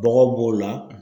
Bɔgɔ b'o la